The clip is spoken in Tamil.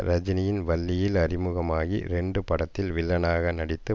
ரஜினியின் வள்ளியில் அறிமுகமாகி ரெண்டு படத்தில் வில்லனாக நடித்து